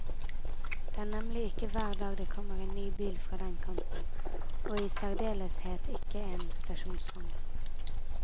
Det er nemlig ikke hver dag det kommer en ny bil fra den kanten, og i særdeleshet ikke en stasjonsvogn.